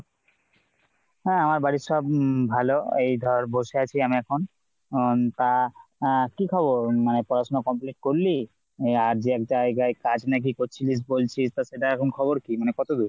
হ্যাঁ আমার বাড়ির সব উম ভালো এই ধর বসে আছি আমি এখন হম তা আহ কি খবর মানে পড়া শোনা complete করলি আর যে এক জায়গায় কাজ নাকি করছিলিস বলছিস তো সেটার খবর কি মানে কত দূর ?